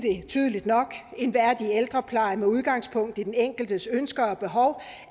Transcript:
tydeligt nok at en værdig ældrepleje med udgangspunkt i den enkeltes ønsker og behov